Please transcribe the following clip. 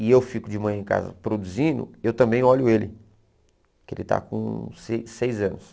e eu fico de manhã em casa produzindo, eu também olho ele, que ele está com se seis anos.